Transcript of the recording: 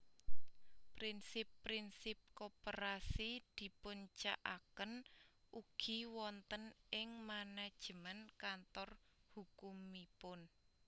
Prinsip prinsip koperasi dipuncakaken ugi wonten ing manajemen kantor hukumipun